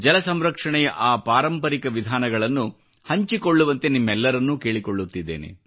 ಜಲ ಸಂರಕ್ಷಣೆಯ ಆ ಪಾರಂಪರಿಕ ವಿಧಾನಗಳನ್ನು ಹಂಚಿಕೊಳ್ಳುವಂತೆ ನಿಮ್ಮೆಲ್ಲರಲ್ಲೂ ಕೇಳಿಕೊಳ್ಳುತ್ತೇನೆ